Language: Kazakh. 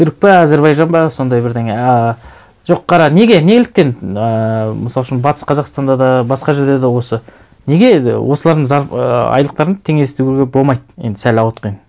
түрік пе әзербайжан ба сондай бірдеңе ыыы жоқ қара неге неліктен ыыы мысал үшін батыс қазақстанда да басқа жерде де осы неге осылардың ыыы айлықтарын теңестіруге болмайды енді сәл ауытқыйын